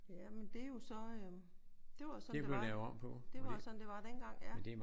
Jamen det er jo så øh det var jo sådan det var. Det var jo sådan det var dengang ja